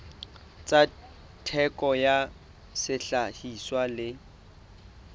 tsa theko ya sehlahiswa le